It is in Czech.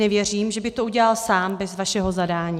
Nevěřím, že by to udělal sám bez vašeho zadání.